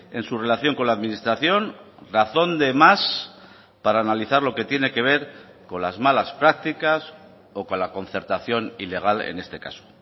en su relación con la administración razón de más para analizar lo que tiene que ver con las malas prácticas o con la concertación ilegal en este caso